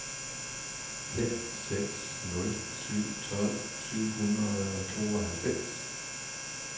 fem seks nul syv tolv syv hundrede og tooghalvfems